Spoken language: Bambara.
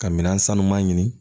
Ka minɛn sanuman ɲini